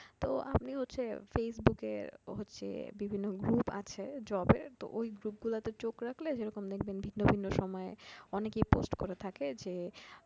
তো আমি হচ্ছে facebook এর হচ্ছে বিভিন্ন group আছে job এর তো ঐ group এ গুলাতে চোখ রাখলে যেরকম দেখবেন ভিন্ন ভিন্ন সময়ে অনেকেই post করে থাকে যে